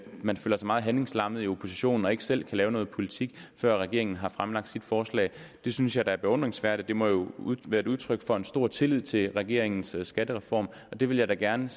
man føler sig meget handlingslammet i oppositionen og ikke selv kan lave noget politik før regeringen har fremlagt sit forslag det synes jeg da er beundringsværdigt og det må jo være et udtryk for en stor tillid til regeringens skattereform og det vil jeg da gerne